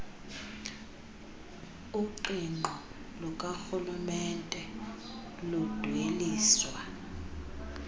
uqingqo lukarhulumente ludweliswa